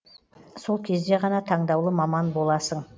сол кезде ғана таңдаулы маман боласың